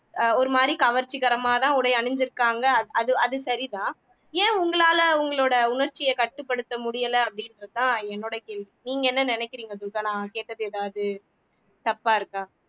ஆஹ் ஒரு மாதிரி கவர்ச்சிகரமாதான் உடை அணிஞ்சிருக்காங்க அது அது சரிதான் ஏன் உங்களால உங்களோட உணர்ச்சியை கட்டுப்படுத்த முடியல அப்படின்றதுதான் என்னோட கேள்வி நீங்க என்ன நினைக்கிறீங்க துர்கா நான் கேட்டது ஏதாவது தப்பா இருக்கா